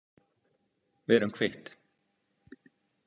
Við erum kvitt.